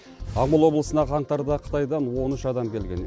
жамбыл облысына қаңтарда қытайдан он үш адам келген